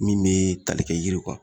Min mee talikɛ yiriw kan